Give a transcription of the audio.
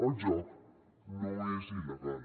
el joc no és il·legal